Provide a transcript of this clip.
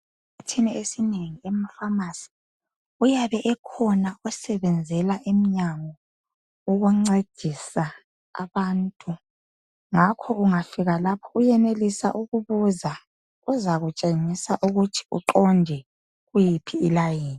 Esikhathini esinengi emafamasi uyabe ekhona osebenzela emnyango ukuncedisa abantu ngakhoke ungafika lapho uyenelisa ukubuza uzakutshengisa ukuthi uqonde kuyiphi layini.